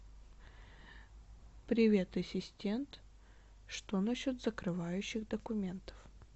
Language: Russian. привет ассистент что насчет закрывающих документов